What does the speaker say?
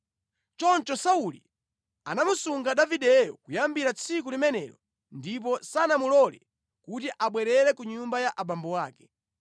Choncho Sauli anamusunga Davideyo kuyambira tsiku limenelo ndipo sanamulole kuti abwerere ku nyumba ya abambo ake.